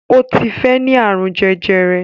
Ó ti fẹ́ ní àrùn jẹjẹrẹ